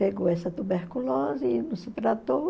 Pegou essa tuberculose e não se tratou.